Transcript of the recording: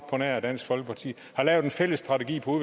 på nær dansk folkeparti har lavet en fælles strategi på